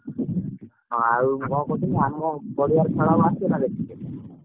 ହଁ ଆଉ କଣ କହୁଥିଲି ଆମ ପଡିଆରେ ଖେଳ ହବ ଆସିବୁନା ଦେଖିବାକୁ।